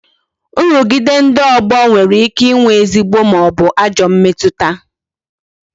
Nrugide ndị ogbo nwere ike ịnwe ezigbo maọbu ajọ mmetụta